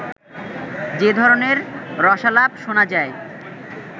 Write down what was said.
যে ধরনের রসালাপ শোনা যায়